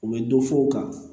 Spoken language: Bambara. U bɛ dɔ fɔ u kan